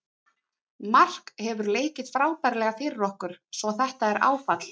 Mark hefur leikið frábærlega fyrir okkur svo þetta er áfall.